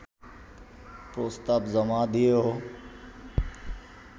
প্রস্তাব জমা দিয়েও